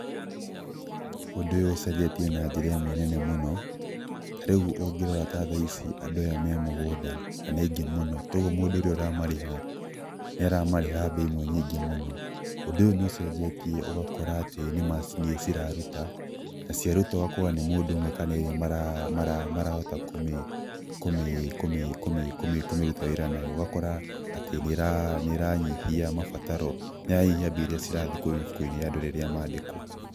Ũndũ ũyũ ũcenjetie na njĩra ĩmwe nene mũno, ta rĩu ũngĩrora ta thaici andũ aya me mũgũnda, na nĩ aingĩ mũno, togwo mũndũ ũrĩa ũramareha, nĩ aramareha mbia imwe nyingĩ mũno. Ũndũ ũyũ nĩ ũcenjetie ũgakora atĩ nĩ macini ciraruta, na cia ruta ũgakora nĩ mũndũ ũmwe kana erĩ marahota kũmĩ ruta wĩra nayo, ũgakora atĩ nĩ ĩranyihia mabataro, nĩ ĩranyihia mbia iria cirathiĩ kwĩ mĩbuko-inĩ ya andũ rĩrĩa mandĩkwo.